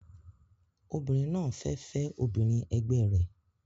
Obìnrin náà fẹ́ fẹ́ obìnrin ẹgbẹ rẹ̀